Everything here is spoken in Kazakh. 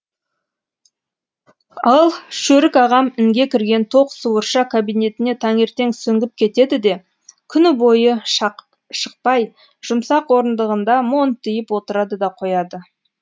ал шөрік ағам інге кірген тоқ суырша кабинетіне таңертең сүңгіп кетеді де күні бойы шықпай жұмсақ орындығында монтиып отырады да қояды